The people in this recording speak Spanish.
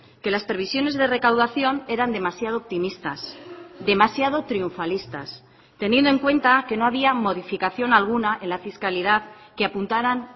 que las previsiones de recaudación eran demasiado optimistas demasiado triunfalistas teniendo en cuenta que no había modificación alguna en la fiscalidad que apuntaran